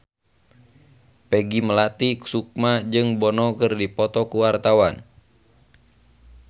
Peggy Melati Sukma jeung Bono keur dipoto ku wartawan